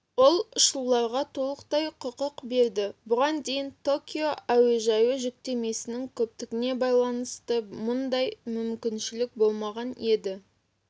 ол ұшуларға толықтай құқық береді бұған дейін токио әуежайы жүктемесінің көптігіне байланысты мұндай мүмкіншілік болмаған еді